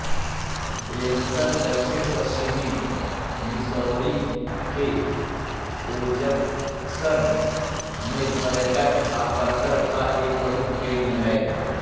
Branson दक्षिणपश्चिमी Missouri के Ozarks में पर्यटक आकर्षण का एक प्रमुख केंद्र है